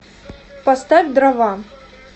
поставь дрова